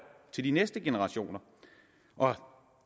til de næste generationer og